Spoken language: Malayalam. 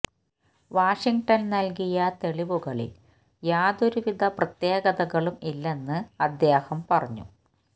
വാഷിംഗ്ടണ് നല്കിയ തെളിവുകളില് യാതൊരു വിധ പ്രത്യേകതകളും ഇല്ലെന്ന് അദ്ദേഹം പറഞ്ഞു